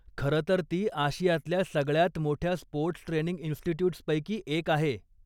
खरंतर ती आशियातल्या सगळ्यांत मोठ्या स्पोर्टस् ट्रेनिंग इन्स्टिट्यूटस्पैकी एक आहे.